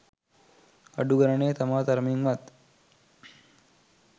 අඩු ගණනේ තමා තරමින් වත්